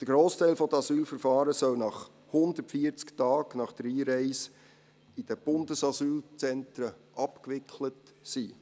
Der Grossteil der Asylverfahren soll 140 Tage nach der Einreise in die Bundesasylzentren abgewickelt sein.